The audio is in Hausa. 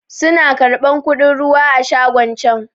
Su na karɓan kuɗin ruwa a shagon can